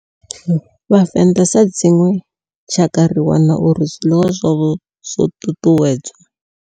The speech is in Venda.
Vhavenḓa sa dzinwe tshakha ri wana uri zwiḽiwa zwavho zwo ṱuṱuwedzwa.